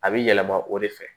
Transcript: A bɛ yɛlɛma o de fɛ